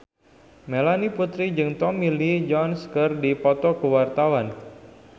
Melanie Putri jeung Tommy Lee Jones keur dipoto ku wartawan